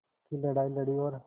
की लड़ाई लड़ी और